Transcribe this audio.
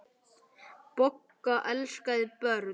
Bogga elskaði börn.